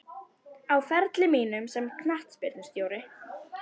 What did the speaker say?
Á ferli mínum sem knattspyrnustjóri?